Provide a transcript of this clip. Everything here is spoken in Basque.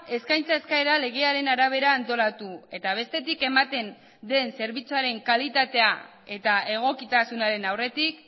eskaintza eskaera legearen arabera antolatu eta bestetik ematen den zerbitzuaren kalitatea eta egokitasunaren aurretik